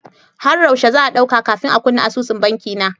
Har yaushe za'a ɗauka kafin a kunna asusun banki na?